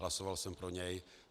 Hlasoval jsem pro něj.